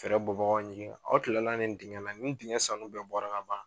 bɔbagaw ɲininka aw tilala nin dingɛn na nin dingɛn sanu bɛɛ bɔra ka ban?